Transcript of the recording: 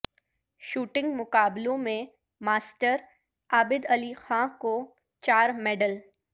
shooting مقابلوں میںماسٹر عابد علی خاں کو چار میڈل